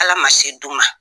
Ala ma se d'u ma